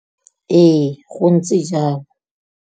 Ee, gontse jalo.